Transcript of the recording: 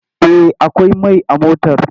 Eh akwai mai a motar!